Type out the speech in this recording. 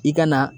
I ka na